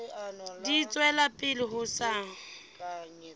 di tswela pele ho sa